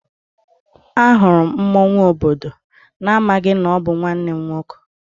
Ahụrụ m mmọnwụ obodo n'amaghị na ọ bụ nwanne m nwoke.